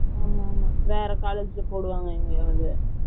ம்ம் வேற college ல போடுவாங்க எங்களோடது